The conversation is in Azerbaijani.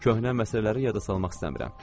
Köhnə məsələləri yada salmaq istəmirəm.